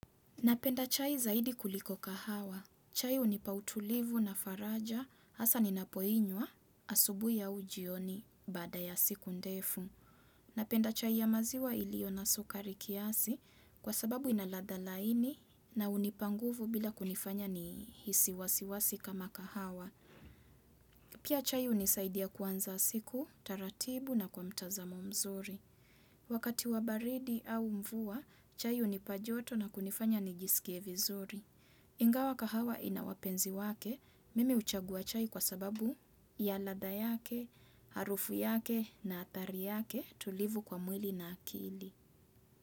Napenda chai zaidi kuliko kahawa. Chai hunipa utulivu na faraja hasa ninapoinywa asubuhi au ujioni baada ya siku ndefu. Napenda chai ya maziwa iliyo na sukari kiasi kwa sababu ina ladha laini na hunipa nguvu bila kunifanya nihisi wasiwasi kama kahawa. Pia chai hunisaidia kuanza siku, taratibu na kwa mtazamo mzuri. Wakati wa baridi au mvua, chai hunipa joto na kunifanya nijisikie vizuri. Ingawa kahawa ina wapenzi wake, mimi huchagua chai kwa sababu ya ladha yake, harufu yake na athari yake tulivu kwa mwili na akili.